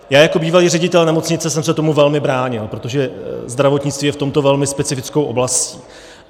Já jako bývalý ředitel nemocnice jsem se tomu velmi bránil, protože zdravotnictví je v tomto velmi specifickou oblastí.